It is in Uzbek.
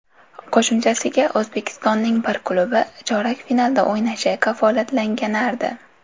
Qo‘shimchasiga, O‘zbekistonning bir klubi chorak finalda o‘ynashi kafolatlanganardi.